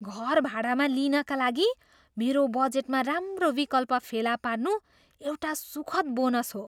घर भाडामा लिनका लागि मेरो बजेटमा राम्रो विकल्प फेला पार्नु एउटा सुखद बोनस हो।